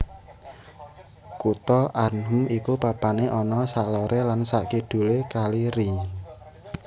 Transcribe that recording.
Kutha Arnhem iku papané ana saloré lan sakidulé kali Rijn